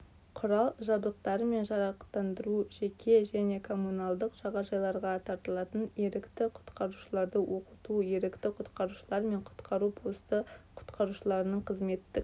құрал-жабдықтарымен жарақтандыру жеке және коммуналдық жағажайларға тартылатын ерікті-құтқарушыларды оқыту ерікті-құтқарушылар мен құтқару посты құтқарушыларының қызметтік